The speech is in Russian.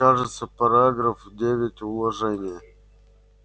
кажется параграф девять уложения